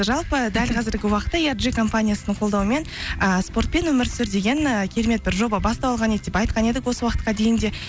жалпы дәл қазіргі уақытта компаниясының қолдауымен ыыы спортпен өмір сүр деген ы керемет бір жоба басталған еді деп айтқан едік осы уақытқа дейін де